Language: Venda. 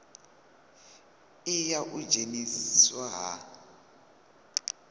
i ya u dzheniswa ha